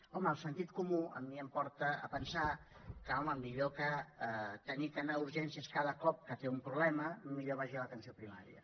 home el sentit comú a mi em porta a pensar que home millor que haver d’anar a urgències cada cop que té un problema millor que vagi a l’atenció primària